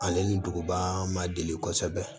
Ale ni duguba ma deli kɔsɛbɛ